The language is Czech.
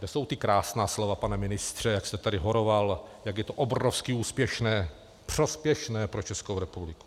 To jsou ta krásná slova, pane ministře, jak jste tady horoval, jak je to obrovsky úspěšné, prospěšné pro Českou republiku.